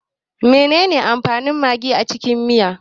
Menene amfanin magi a cikin miya?